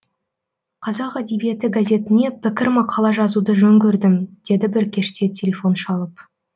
қазақ әдебиеті газетіне пікір мақала жазуды жөн көрдім деді бір кеште телефон шалып